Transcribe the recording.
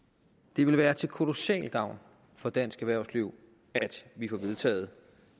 det vil være til kolossal gavn for dansk erhvervsliv at vi får vedtaget